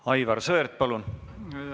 Aivar Sõerd, palun!